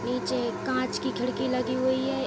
नीचे एक कांच की खिड़की लगी हुई है।